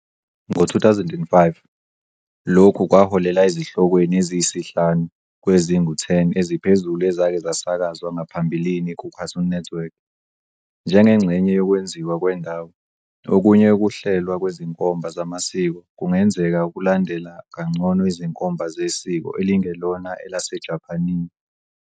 Ngo-2005, lokhu kwaholela ezihlokweni eziyisihlanu kwezingu-10 eziphezulu ezake zasakazwa ngaphambilini kuCartoon Network. Njengengxenye yokwenziwa kwendawo, okunye ukuhlelwa kwezinkomba zamasiko kungenzeka ukulandela kangcono izinkomba zesiko elingelona elaseJapane.